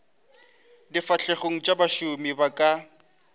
difahlegong tša bašomi ba ka